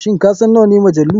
Shin kasan nawane majalu?